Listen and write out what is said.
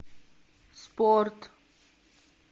спорт